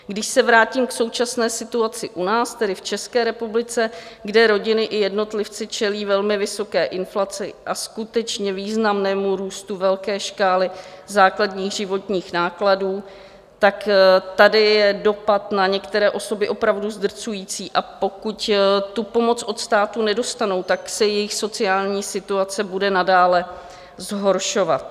Když se vrátím k současné situaci u nás, tedy v České republice, kde rodiny i jednotlivci čelí velmi vysoké inflaci a skutečně významnému růstu velké škály základních životních nákladů, tak tady je dopad na některé osoby opravdu zdrcující, a pokud tu pomoc od státu nedostanou, tak se jejich sociální situace bude nadále zhoršovat.